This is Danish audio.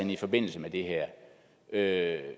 i forbindelse med det her